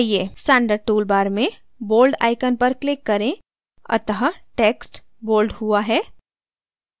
standard toolbar में bold icon पर click करें अतः text bold हुआ है